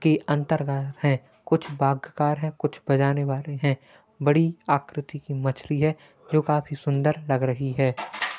की अंतर्गत है। कुछ बागगार है कुछ बजाने वाले है बड़ी आकृति की मछली है जो काफी सुंदर लग रही है।